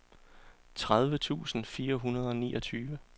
tredive tusind fire hundrede og niogtyve